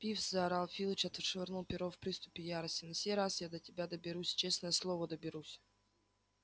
пивз заорал филч отшвырнув перо в приступе ярости на сей раз я до тебя доберусь честное слово доберусь